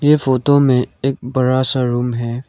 ये फोटो में एक बड़ा सा रूम है।